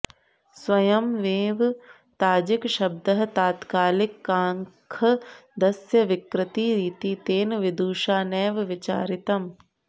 स्वयंमेव ताजिकशब्दः तात्कालिकांख्दस्य विकृतिरिति तेन विदुषा नैव विचारितम्